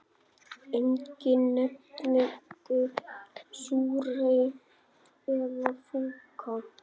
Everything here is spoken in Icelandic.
Enginn nefndi súrhey eða fúkka.